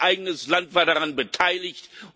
Mein eigenes Land war daran beteiligt.